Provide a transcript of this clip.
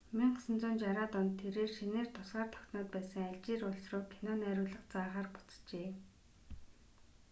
1960-аад онд тэрээр шинээр тусгаар тогтноод байсан алжир улс руу кино найруулга заахаар буцжээ